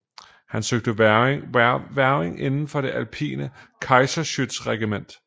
Han søgte hvervning inden for det alpine Kaiserschützenregiment